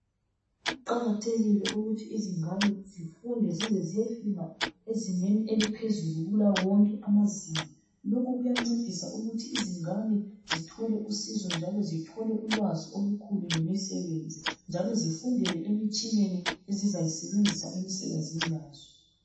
Kuqakathekile ukuthi izingane zifunde zize ziyefika ezingeni eliphezulu kulawo wonke amazinga. Lokhu kuyancedisa ukuthi izingane zithole usizo njalo zithole ulwazi olukhulu ngemisebenzi njalo sifundele emitshineni ezizayisebenzisa emisebenzini yazo.